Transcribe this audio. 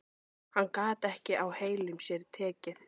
Hann gat ekki á heilum sér tekið.